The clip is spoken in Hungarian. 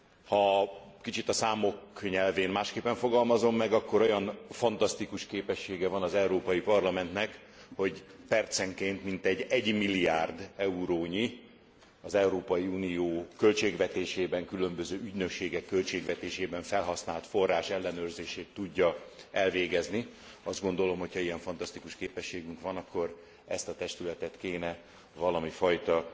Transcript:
Ha kicsit a számok nyelvén másképpen fogalmazom meg, akkor olyan fantasztikus képessége van az Európai Parlamentnek, hogy percenként mintegy 1 milliárd eurónyi, az Európai Unió költségvetésében, különböző ügynökségek költségvetésében felhasznált forrás ellenőrzését tudja elvégezni Azt gondolom, hogy ha ilyen fantasztikus képességünk van, akkor ezt a testületet kéne valamifajta